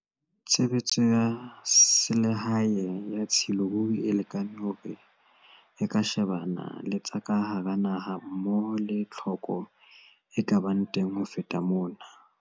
Tshebetso ya selehae ya tshilo ruri e lekane hore e ka shebana le tsa ka hara naha mmoho le tlhoko e ka bang teng ho feta mona.